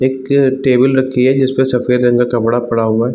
एक टेबल रखी हुई है जिसपर सफ़ेद रंग का कपड़ा पड़ा हुआ--